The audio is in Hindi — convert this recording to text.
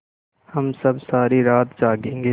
हम सब सारी रात जागेंगे